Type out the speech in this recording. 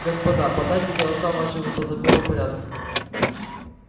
господа подайте голоса ваши по законному порядку